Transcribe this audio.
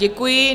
Děkuji.